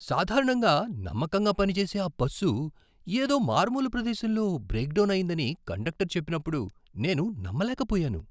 సాధారణంగా నమ్మకంగా పనిచేసే ఆ బస్సు ఏదో మారుమూల ప్రదేశంలో బ్రేక్ డౌన్ అయిందని కండక్టర్ చెప్పినప్పుడు నేను నమ్మలేకపోయాను!